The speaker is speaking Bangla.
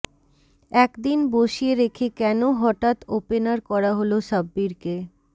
একদিন বসিয়ে রেখে কেন হঠাৎ ওপেনার করা হলো সাব্বিরকে